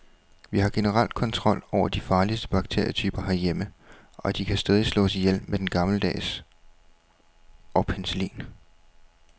Vi har generelt kontrol over de farligste bakterietyper herhjemme, og de kan stadig slås ihjel med den gammeldags og penicillin.